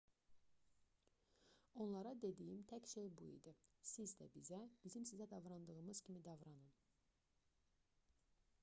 onlara dediyim tək şey bu idi siz də bizə bizim sizə davrandığımız kimi davranın